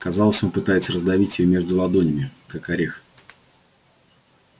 казалось он пытается раздавить её между ладонями как орех